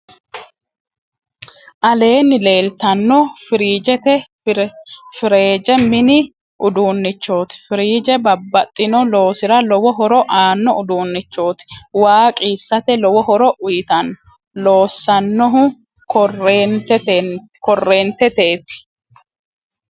aleenni leelitannoti firijete. fireje mini uddunnichoti. firije babbaxino loosira lowo horo aanno uddunnichoti. waa qiissate lowo horo uyitanno. loossannohu korrenteteti.